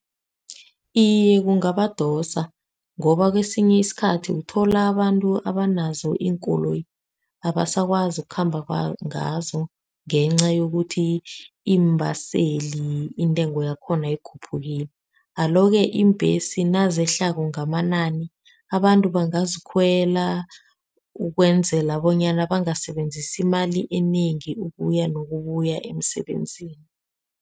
Iye, kungabadosa ngoba kwesinye isikhathi uthola abantu abanazo iinkoloyi abasakwazi ukukhamba ngazo, ngenca yokuthi iimbaseli intengo yakhona ikhuphukile. Alo-ke iimbhesi nazehlako ngamanani abantu bangazikhwela ukwenzela bonyana bangasebenzisi imali enengi ukuya nokubuya emsebenzini.